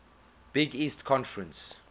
big east conference